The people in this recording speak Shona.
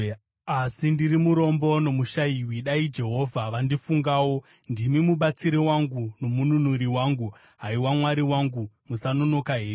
Asi ndiri murombo nomushayiwi; dai Ishe vandifungawo. Ndimi mubatsiri wangu nomununuri wangu; haiwa Mwari wangu, musanonoka henyu.